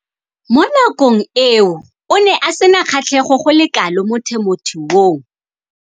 Mo nakong eo o ne a sena kgatlhego go le kalo mo temothuong.